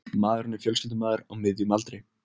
Maðurinn er fjölskyldumaður á miðjum aldri